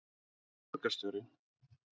sem borgarstjóri?